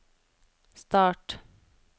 start